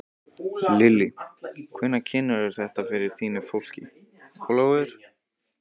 Lillý: Hvenær kynnirðu þetta fyrir þínu fólki, Ólafur?